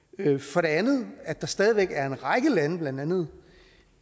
for det andet at der stadig væk er en række lande blandt andet